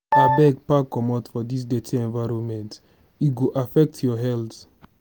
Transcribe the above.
abeg pack comot from dis dirty environment e go affect your health.